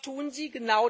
Und was tun Sie?